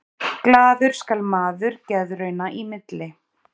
Glaður skal maður geðrauna í milli.